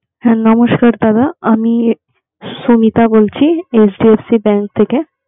হ্যা নমস্কার দাদা, আমি সোমিতা বলছি HDFC bank থেকে.